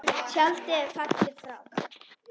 Tjaldið er fallið og frá.